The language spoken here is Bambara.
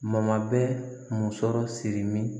Mabɛn musɔrɔ siri